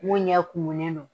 Mun ɲɛ kumunen no